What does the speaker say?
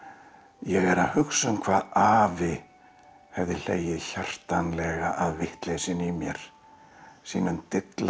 ég er að hugsa um hvað afi hefði hlegið hjartanlega að vitleysunni í mér sínum dillandi